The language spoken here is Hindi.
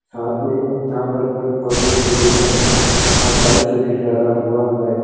साथ पे यहाँ पर पेड़ - पौधे भी दिख रहे है और टाइल्स भी लगा हुआ है।